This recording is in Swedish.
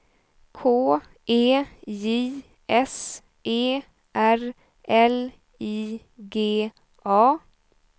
K E J S E R L I G A